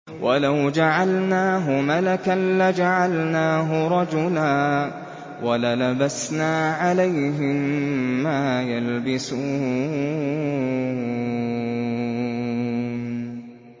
وَلَوْ جَعَلْنَاهُ مَلَكًا لَّجَعَلْنَاهُ رَجُلًا وَلَلَبَسْنَا عَلَيْهِم مَّا يَلْبِسُونَ